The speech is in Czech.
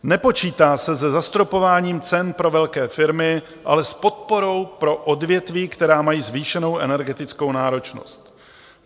Nepočítá se se zastropováním cen pro velké firmy, ale s podporou pro odvětví, která mají zvýšenou energetickou náročnost.